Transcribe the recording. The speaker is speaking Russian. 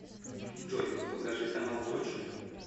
джой покажи канал точка